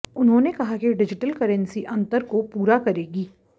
उन्होंने कहा कि डिजिटल करेंसी अंतर को पूरा करेगी